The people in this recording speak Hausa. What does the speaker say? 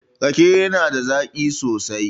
Rake na da zaƙi sosai